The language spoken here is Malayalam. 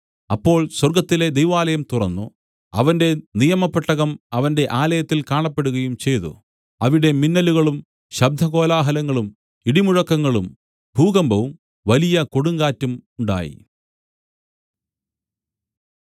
അപ്പോൾ സ്വർഗ്ഗത്തിലെ ദൈവാലയം തുറന്നു അവന്റെ നിയമപ്പെട്ടകം അവന്റെ ആലയത്തിൽ കാണപ്പെടുകയും ചെയ്തു അവിടെ മിന്നലുകളും ശബ്ദകോലാഹലങ്ങളും ഇടിമുഴക്കങ്ങളും ഭൂകമ്പവും വലിയ കൊടുങ്കാറ്റും ഉണ്ടായി